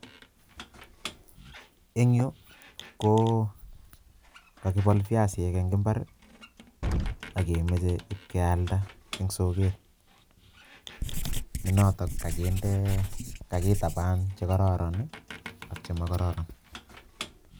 En yu ko kakibol biasinik eng imbar, ak kemoche kealda en soket Nenotok kokindee, kakitabaan chekororon ak chemokororon